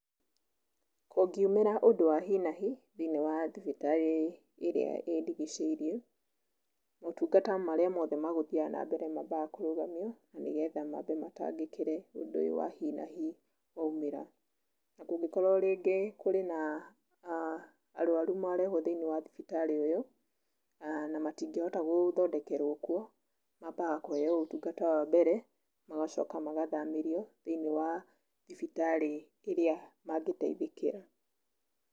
Kũngiumĩra ũndũ wa hi na hi thĩiniĩ wa thibitarĩ ĩrĩa ĩndigicĩirie, maũtungata marĩa mothe magũthiaga na mbere maambaga kũrũgamio nĩgetha maambe matangĩkire ũndũ ũyũ wa hi na hi waumĩra. Kũngĩkorwo rĩngĩ kũrĩ na arũaru marehwo thĩinĩ wa thibitarĩ ũyũ na matingĩhota gũthondekerwo kuo, maambaga kũheo ũtungata wa mbere magacoka magathamĩrio thĩiniĩ wa thibitarĩ ĩrĩa mangĩteithĩkira.